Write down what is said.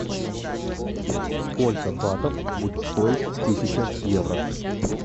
сколько батов будет стоить тысяча евро